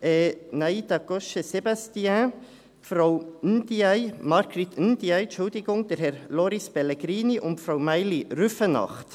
Frau Nayda Cochet-Sebastian, Frau Marguerite Ndiaye, Herr Loris Pellegrini und Frau Maïli Rüfenacht.